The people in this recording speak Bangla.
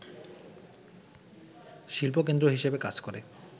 শিল্পকেন্দ্র হিসেবে কাজ করে